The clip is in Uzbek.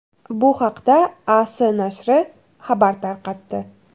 Bu haqda AS nashri xabar tarqatdi.